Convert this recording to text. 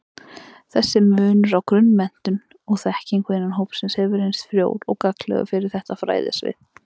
Þessi munur á grunnmenntun og-þekkingu innan hópsins hefur reynst frjór og gagnlegur fyrir þetta fræðasvið.